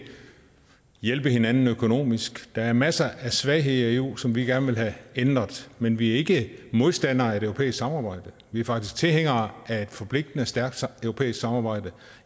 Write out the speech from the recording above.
hjælpe hinanden økonomisk der er masser af svagheder i eu som vi gerne vil have ændret men vi er ikke modstandere af et europæisk samarbejde vi er faktisk tilhængere af et forpligtende og stærkt europæisk samarbejde